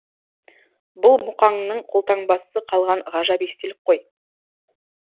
бұл мұқаңның қолтаңбасы қалған ғажап естелік қой